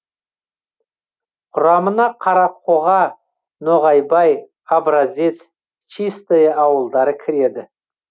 құрамына қарақоға ноғайбай образец чистое ауылдары кіреді